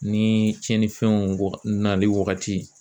Ni cɛnnifɛnw waga nali wagati